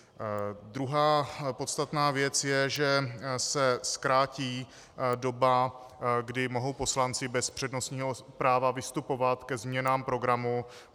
Druhá podstatná věc je, že se zkrátí doba, kdy mohou poslanci bez přednostního práva vystupovat ke změnám programu.